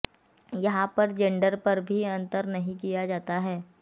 यहां पर जेंडर पर भी अंतर नहीं किया जाता है